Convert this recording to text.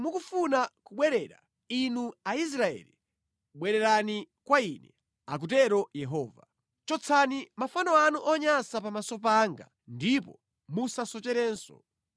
“Ngati mukufuna kubwerera, inu Aisraeli, bwererani kwa Ine,” akutero Yehova. “Chotsani mafano anu onyansa pamaso panga ndipo musasocherenso.